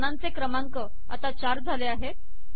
आणि पानांचे क्रमांक आता ४ झाले आहेत